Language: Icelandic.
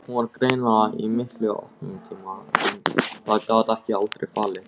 Hún var greinilega í miklu uppnámi en það gat hún aldrei falið.